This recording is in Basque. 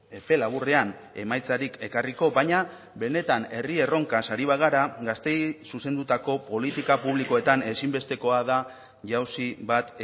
epe laburrean emaitzarik ekarriko baina benetan herri erronkaz ari bagara gazteei zuzendutako politika publikoetan ezinbestekoa da jauzi bat